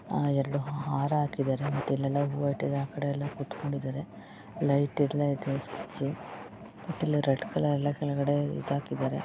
ಎರಡು ಹಾರ ಹಾಕಿದರೆ ಮತ್ತೆ ಇಲ್ಲೆಲ್ಲ ಹೂವ ಇಟ್ಟಿದ್ದಾರೆ. ಆಕಡೆ ಎಲ್ಲ ಕೂತ್ಕೊಂಡಿದ್ದಾರೆ ಲೈಟ್ ಎಲ್ಲ ಇದೆ. ಲೈಟ್ ಎಲ್ಲ ಇದೆ ರೆಡ್ ಕಲರ್ ಎಲ್ಲ ಇದ್ದ ಹಾಗೆ ಇದ್ದಾರೆ.